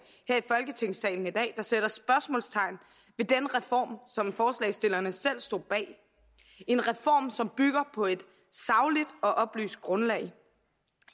her i folketingssalen i dag der sætter spørgsmålstegn ved den reform som forslagsstillerne selv står bag en reform som bygger på et sagligt og oplyst grundlag